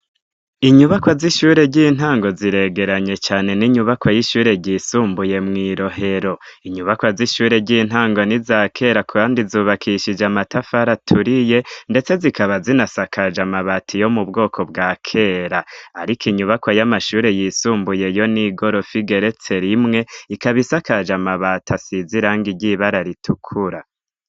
inyubakwa z'ishure ry'intango ziregeranye cane n'inyubako y'ishure ryisumbuye mwirohero inyubakwa z'ishure ry'intango nizakera kandi zubakishije amatafara aturiye ndetse zikaba zinasakaje amabati yo mubwoko bwakera ariko inyubako y'amashure yisumbuye yo n'igorofu igeretse rimwe ikaba isakaje amabati asiziranga ry'ibara ritukura